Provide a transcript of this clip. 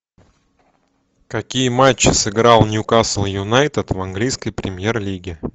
какие матчи сыграл ньюкасл юнайтед в английской премьер лиге